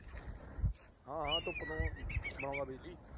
ਹਾਂ। ਹਾਂ। ਧੁੱਪ ਤੋਂ ਚਲਾਉਂਦਾ ਬਿਜਲੀ।